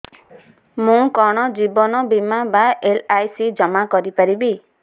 ମୁ କଣ ଜୀବନ ବୀମା ବା ଏଲ୍.ଆଇ.ସି ଜମା କରି ପାରିବି